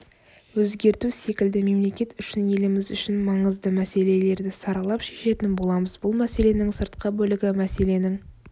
өзгерту секілді мемлекет үшін еліміз үшін маңыздымәселелерді саралап шешетін боламыз бұл мәселенің сыртқы бөлігі мәселенің